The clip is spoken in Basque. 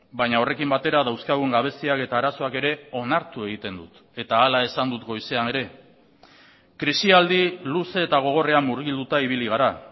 baina horrekin batera dauzkagun gabeziak eta arazoak ere onartu egiten dut eta hala esan dut goizean ere krisialdi luze eta gogorrean murgilduta ibili gara